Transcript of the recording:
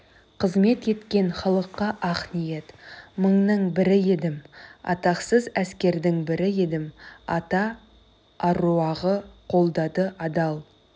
қызмет еткен халыққа ақ ниет мыңның бірі едім атақсыз әскердің бірі едім ата аруағы қолдады адал